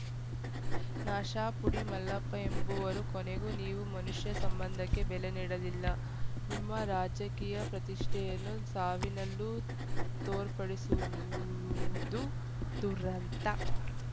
ನಶಾಪುಡಿ ಮಲ್ಲಪ್ಪ ಎಂಬುವರು ಕೊನೆಗೂ ನೀವು ಮನುಷ್ಯ ಸಂಬಂಧಕ್ಕೆ ಬೆಲೆ ನೀಡಲಿಲ್ಲ ನಿಮ್ಮ ರಾಜಕೀಯ ಪ್ರತಿಷ್ಠೆಯನ್ನು ಸಾವಿನಲ್ಲೂ ತೋರ್ಪಡಿಸುವುದು ದುರಂತ